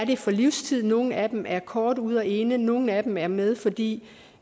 det for livstid nogle af dem er kort ude og inde nogle af dem er med fordi